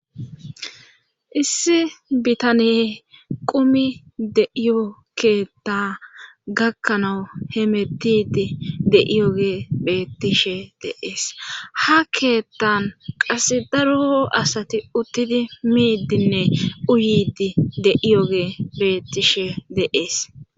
issi bitaniye qumi de7iyokeetta gakkanawu he metidi de7iyoge bettishe de,es ha keettan qase daroo asati uttidi miiddinne uyidi de iyoge bettishe de,es